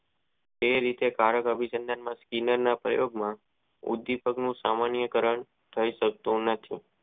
જે રીતે કારક અભિસાજાન ના જીન ના પ્રયોગ માં ઉદીપકવો સામાન્ય કારણ થઈ શકતો નથી.